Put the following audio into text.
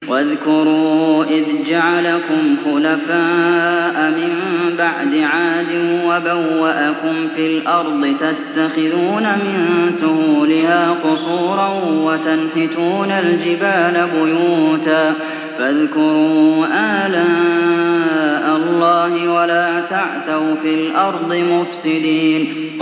وَاذْكُرُوا إِذْ جَعَلَكُمْ خُلَفَاءَ مِن بَعْدِ عَادٍ وَبَوَّأَكُمْ فِي الْأَرْضِ تَتَّخِذُونَ مِن سُهُولِهَا قُصُورًا وَتَنْحِتُونَ الْجِبَالَ بُيُوتًا ۖ فَاذْكُرُوا آلَاءَ اللَّهِ وَلَا تَعْثَوْا فِي الْأَرْضِ مُفْسِدِينَ